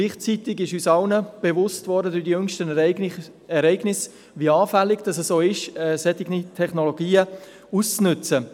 Gleichzeitig wurde uns durch die jüngsten Ereignisse bewusst, wie anfällig solche Technologien sind.